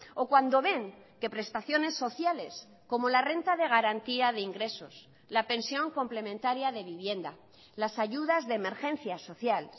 o cuando ven que prestaciones sociales como la renta de garantía de ingresos la pensión complementaria de vivienda las ayudas de emergencia social